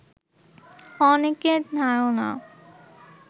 অনেকের ধারণা